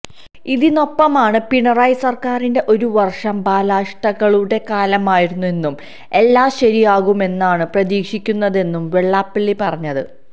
ഇതിനൊപ്പമാണ് പിണറായി സർക്കാരിന്റെ ഒരു വർഷം ബാലാരിഷ്ടതകളുടെ കാലമായിരുന്നെന്നും എല്ലാ ശരിയാകുമെന്നാണു പ്രതീക്ഷിക്കുന്നതെന്നും വെള്ളാപ്പള്ളി പറഞ്ഞത്